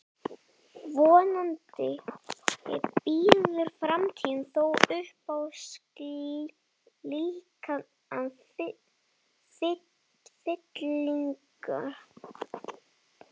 vonandi býður framtíðin þó upp á slíkar fyllingar